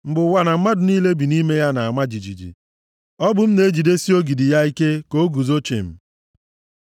Mgbe ụwa na mmadụ niile bi nʼime ya na-ama jijiji, ọ bụ m na-ejidesi ogidi + 75:3 Ya bụ, ntọala ya ike ka o guzo chịm. Sela